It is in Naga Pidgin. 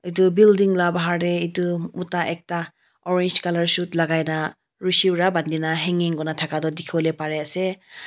etu building laga bahar te etu Mota ekta orange colour suit lagai na rasi para bandi na hanging kori na thaka tu dekhi bole Pari ase.